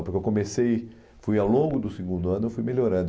Porque eu comecei, fui ao longo do segundo ano, eu fui melhorando.